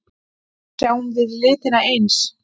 Sjáum við litina eins?